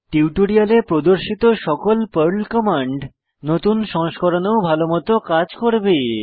টিউটোরিয়ালে প্রদর্শিত সকল পর্ল কমান্ড নতুন সংস্করণেও ভালোমত কাজ করবে